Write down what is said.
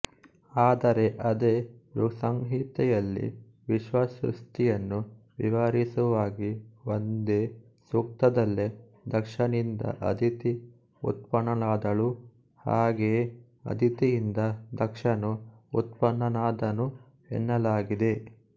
ಆದರೆ ಅದೇ ಋಕ್ಸಂಹಿತೆಯಲ್ಲಿ ವಿಶ್ವಸೃಷ್ಟಿಯನ್ನು ವಿವರಿಸುವಾಗಿ ಒಂದೇ ಸೂಕ್ತದಲ್ಲೆ ದಕ್ಷನಿಂದ ಅದಿತಿ ಉತ್ಪನ್ನಳಾದಳು ಹಾಗೆಯೇ ಅದಿತಿಯಿಂದ ದಕ್ಷನು ಉತ್ಪನ್ನನಾದನು ಎನ್ನಲಾಗಿದೆ